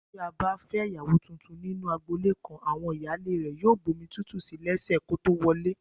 Bí a bá fẹ́ ìyàwó tuntun nínú agboolé kan, àwọn ìyáálé rẹ̀ yóò bomi tútù sí lẹ́sẹ̀ kó tó wọlé